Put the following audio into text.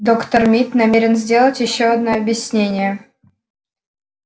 доктор мид намерен сделать ещё одно объяснение